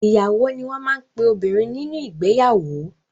Ìyàwó ni wọ́n máa ń pe obìnrin nínú ìgbeyàwó.